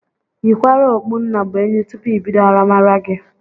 Yikwara okpu nnabuenyi tụpụ ibido aramara gi